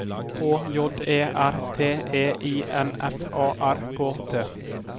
H J E R T E I N F A R K T